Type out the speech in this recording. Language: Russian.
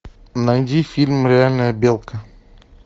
найди фильм реальная белка